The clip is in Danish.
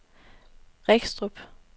Regstrup